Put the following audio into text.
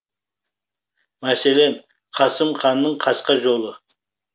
мәселен қасым ханның қасқа жолы